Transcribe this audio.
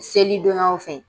Selidonyaw fɛ